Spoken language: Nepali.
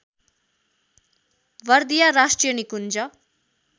बर्दिया राष्ट्रिय निकुञ्ज